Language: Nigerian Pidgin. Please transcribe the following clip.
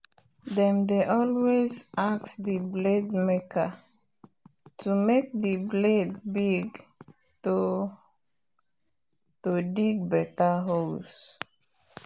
them dey always ask the blade maker to make the blade big to dig bigger holes